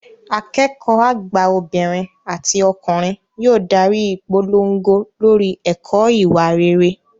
Akẹ́kọ̀ọ́ àgbà obìnrin àti ọkùnrin yóò darí ìpolongo lórí ẹ̀kọ́ ìwà rere